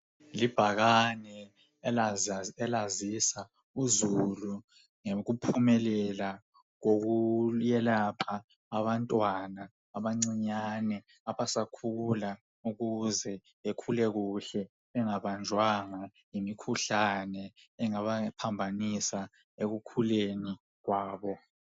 Libhakane elazisa uzulu ngokuphumelea kokuyelapha abantwana abancinyane abasakhula ukuze bekhule kuhle bengabanjwanga yimkhuhlane engabaphambanisa ekukhuleni kwabo.